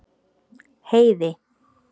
Heiði